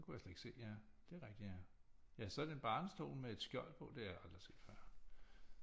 Det kunne jeg slet ikke se ja det er rigtigt ja ja så er det en barnestol med et skjold på det har jeg aldrig set før